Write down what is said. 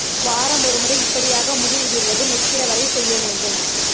வாரம் ஒரு முறை இப்படியாக முடி உதிர்வது நிற்கிற வரை செய்ய வேண்டும்